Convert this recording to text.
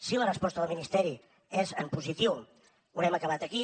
si la resposta del ministeri és en positiu haurem acabat aquí